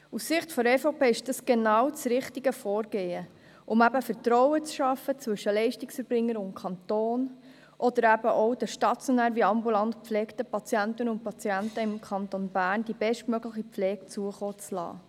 Aus Sicht der EVP ist dies genau das richtige Vorgehen, um Vertrauen zwischen den Leistungserbringern und dem Kanton zu schaffen, oder den stationär sowie ambulant gepflegten Patientinnen und Patienten im Kanton Bern die bestmögliche Pflege zukommen zu lassen.